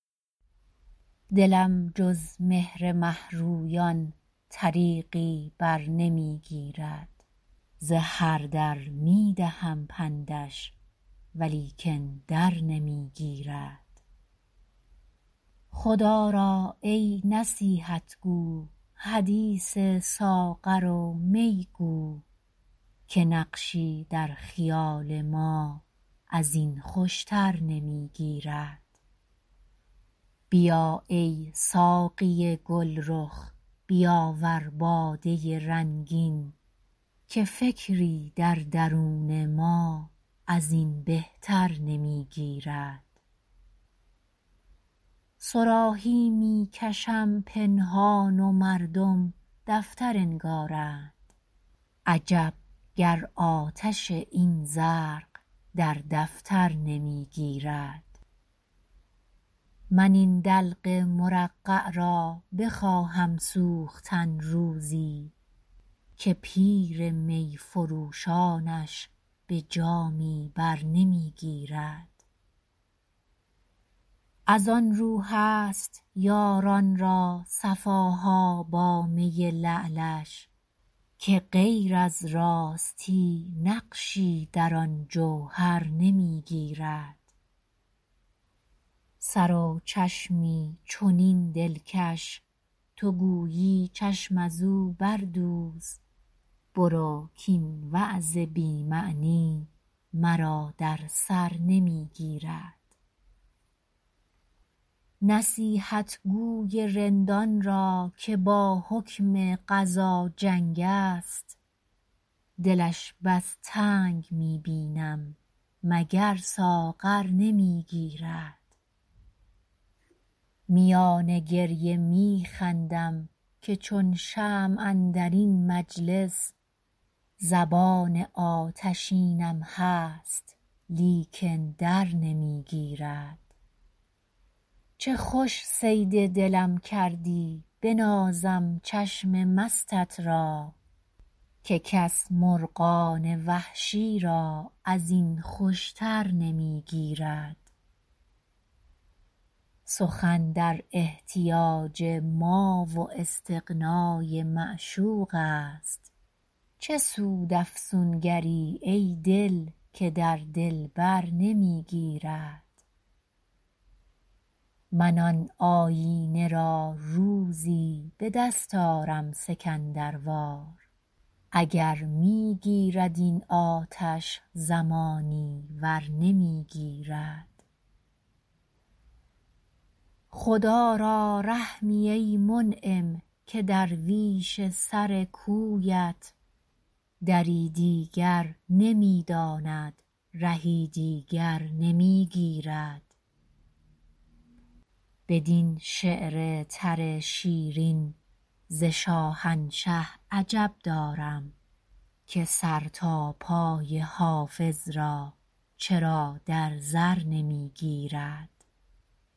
دلم جز مهر مه رویان طریقی بر نمی گیرد ز هر در می دهم پندش ولیکن در نمی گیرد خدا را ای نصیحت گو حدیث ساغر و می گو که نقشی در خیال ما از این خوش تر نمی گیرد بیا ای ساقی گل رخ بیاور باده رنگین که فکری در درون ما از این بهتر نمی گیرد صراحی می کشم پنهان و مردم دفتر انگارند عجب گر آتش این زرق در دفتر نمی گیرد من این دلق مرقع را بخواهم سوختن روزی که پیر می فروشانش به جامی بر نمی گیرد از آن رو هست یاران را صفا ها با می لعلش که غیر از راستی نقشی در آن جوهر نمی گیرد سر و چشمی چنین دلکش تو گویی چشم از او بردوز برو کاین وعظ بی معنی مرا در سر نمی گیرد نصیحتگو ی رندان را که با حکم قضا جنگ است دلش بس تنگ می بینم مگر ساغر نمی گیرد میان گریه می خندم که چون شمع اندر این مجلس زبان آتشینم هست لیکن در نمی گیرد چه خوش صید دلم کردی بنازم چشم مستت را که کس مرغان وحشی را از این خوش تر نمی گیرد سخن در احتیاج ما و استغنا ی معشوق است چه سود افسونگر ی ای دل که در دلبر نمی گیرد من آن آیینه را روزی به دست آرم سکندر وار اگر می گیرد این آتش زمانی ور نمی گیرد خدا را رحمی ای منعم که درویش سر کویت دری دیگر نمی داند رهی دیگر نمی گیرد بدین شعر تر شیرین ز شاهنشه عجب دارم که سر تا پای حافظ را چرا در زر نمی گیرد